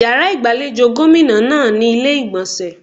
Yàrá ìgbàlejò gómìnà náà ní ilé ìgbọ̀nsẹ̀.